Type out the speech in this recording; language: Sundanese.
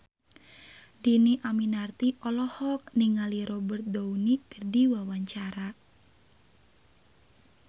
Dhini Aminarti olohok ningali Robert Downey keur diwawancara